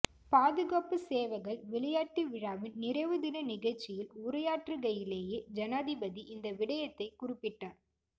பாதுகாப்புச் சேவைகள் விளையாட்டு விழாவின் நிறைவு தின நிகழ்ச்சியில் உரையாற்றுகையிலேயே ஜனாதிபதி இந்த விடயத்தை குறிப்பிட்டார்